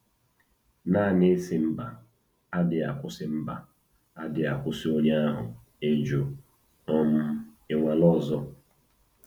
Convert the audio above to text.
Naanị ịsị mba adịghị akwụsị mba adịghị akwụsị onye ahụ ịjụ um ịnwale ọzọ.